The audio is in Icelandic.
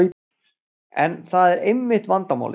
En það er einmitt vandamálið.